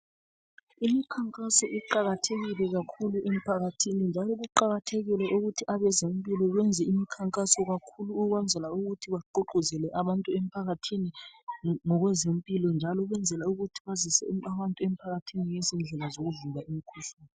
Imikhankaso iqakathekile kakhulu emphakathini. Njalo kuqakathekile ukuthi abezempilakahle benze imikhankaso kakhulu ukwenzela ukuthi bagqugquzele abantu emphakathini ngokwezempilakahle njalo ukwenzela ukuthi bazise abantu emphakathini ngezindlela zokuzivikela imikhuhlane.